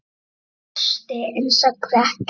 Hún brosti en sagði ekkert.